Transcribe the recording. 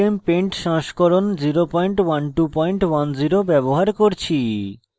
gchempaint সংস্করণ 01210 ব্যবহার করছি